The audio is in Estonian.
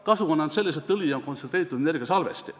Kasu on ainult selles, et õli on kontsentreeritud energiasalvesti.